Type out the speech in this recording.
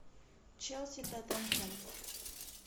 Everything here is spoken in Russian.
челси тоттенхэм